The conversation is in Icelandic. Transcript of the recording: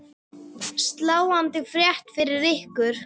Sláandi frétt finnst ykkur ekki?